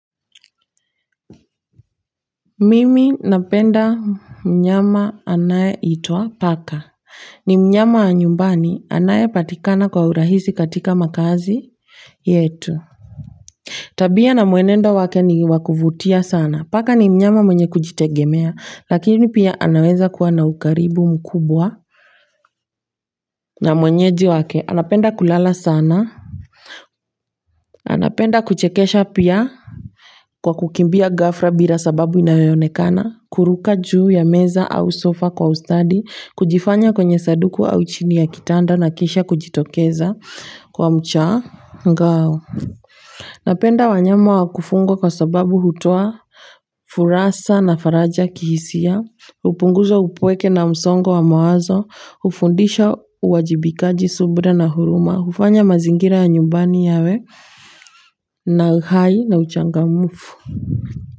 Mimi napenda mnyama anayeitwa paka, ni mnyama wa nyumbani anayepatikana kwa urahisi katika makazi yetu. Tabia na mwenendo wake ni wa kuvutia sana. Paka ni mnyama mwenye kujitegemea lakini pia anaweza kuwa na ukaribu mkubwa na mwenyeji wake. Anapenda kulala sana. Anapenda kuchekesha pia kwa kukimbia ghafla bila sababu inayoonekana, kuruka juu ya meza au sofa kwa ustadi, kujificha kwenye sanduku au chini ya kitanda na kisha kujitokeza kwa mshangao. Napenda wanyama wa kufugwa kwa sababu hutoa furaha na faraja kihisia, hupunguza upweke na msongo wa mawazo, hufundisha uwajibikaji, subira na huruma, hufanya mazingira ya nyumbani yawe na uhai na uchangamfu.